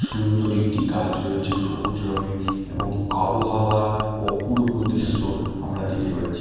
সুন্দর একটি গাছ রয়েছে সবুজ রঙের এবং আবহাওয়ার অপূর্ব দৃশ্য আমরা দেখতে পাচ্ছি।